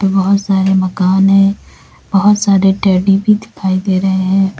बहोत सारे मकान है बहोत सारे टेड्डी भी दिखाई दे रहे हैं।